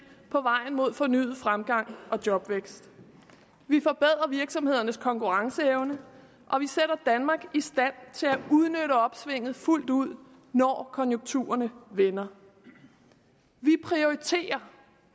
på vejen mod fornyet fremgang og jobvækst vi forbedrer virksomhedernes konkurrenceevne og vi sætter danmark i stand til at udnytte opsvinget fuldt ud når konjunkturerne vender vi prioriterer